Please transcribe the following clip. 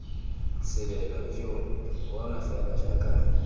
selelo ijo bona fela jaaka